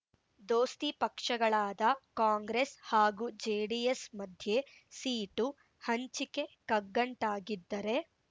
ದೋಸ್ತಿ ಪಕ್ಷಗಳಾದ ಕಾಂಗ್ರೆಸ್ ಹಾಗೂ ಜೆಡಿಎಸ್ ಮಧ್ಯೆ ಸೀಟು ಹಂಚಿಕೆ ಕಗ್ಗಂಟಾಗಿದ್ದರೆ